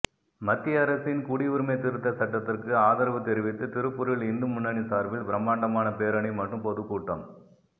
மத்திய அரசின் குடியுரிமை திருத்த சட்டத்துக்கு ஆதரவு தெரிவித்து திருப்பூரில் இந்து முன்னணி சார்பில் பிரமாண்டமான பேரணி மற்றும் பொதுக்கூட்டம்